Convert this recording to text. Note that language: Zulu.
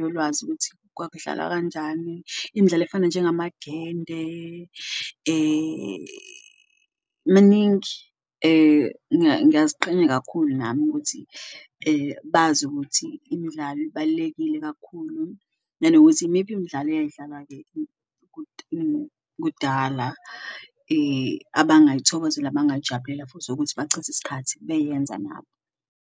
yolwazi ukuthi kwakudlalwa kanjani imidlalo efana njengamagende maningi. Ngiyaziqhenya kakhulu nami ukuthi bazi ukuthi imdlalo ibalulekile kakhulu nanokuthi imiphi imidlalo iyayidlalwa-ke kudala abangayithokozela, abangayijabulela futhi ukuthi bachithe iskhathi beyenza nabo.